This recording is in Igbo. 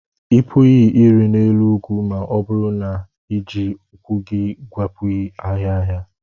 Ị pụghị ịrị n'elu ugwu ma ọ bụrụ na ị na-eji ụkwụ gị gwepịaghị ahịhịa.